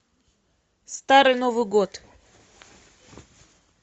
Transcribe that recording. старый новый год